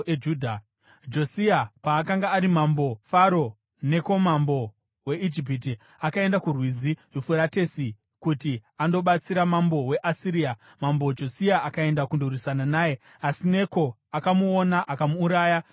Josia paakanga ari mambo, Faro Neko mambo weIjipiti akaenda kuRwizi Yufuratesi kuti andobatsira mambo weAsiria. Mambo Josia akaenda kundorwisana naye, asi Neko akamuona akamuuraya paMegidho.